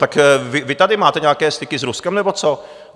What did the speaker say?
Tak vy tady máte nějaké styky s Ruskem nebo co?